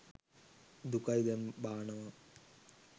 දුකයිදැන් බානවා